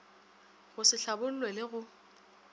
go se hlabollwe le go